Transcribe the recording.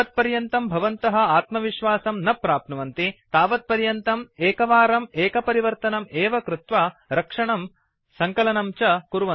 यावत्पर्यन्तं भवन्तः आत्मविश्वासं न प्राप्नुवन्ति तदापर्यन्तम् एकवारम् एकपरिवर्तनं एव कृत्वा रक्षणं सङ्कलनं च कुर्वन्तु